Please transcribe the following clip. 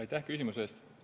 Aitäh küsimuse eest!